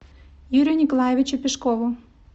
юрию николаевичу пешкову